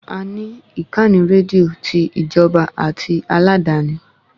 A ní ìkànnì rédíò ti Ìjọba àti aládàáni